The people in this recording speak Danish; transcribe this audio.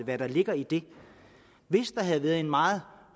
hvad der ligger i det hvis der havde været en meget